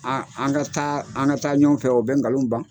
An an ka taa ɲɔgɔn fɛ o bɛ nkalon ban.